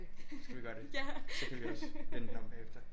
Skal vi gøre det så kan vi også vende den om bagefter